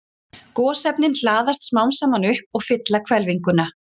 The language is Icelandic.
Gosefnin hlaðast smám saman upp og fylla hvelfinguna.